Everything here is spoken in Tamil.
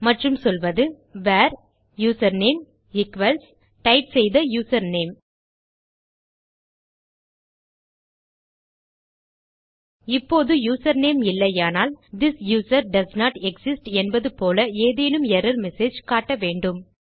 மற்றும் சொல்வது வேர் யூசர்நேம் ஈக்வல்ஸ் டைப் செய்த யூசர்நேம் இப்போது யூசர்நேம் இல்லையானால் திஸ் யூசர் டோஸ்ன்ட் எக்ஸிஸ்ட் என்பது போல ஏதேனும் எர்ரர் மெசேஜ் காட்ட வேண்டும்